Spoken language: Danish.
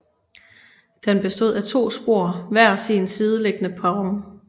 Den bestod af to spor hver sin sideliggende perron